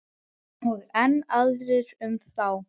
Og enn aðrir um þá.